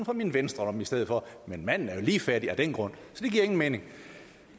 fra min venstre lomme i stedet for men manden er jo lige fattig af den grund så det giver ingen mening